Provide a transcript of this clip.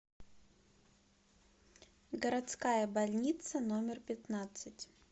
городская больница номер пятнадцать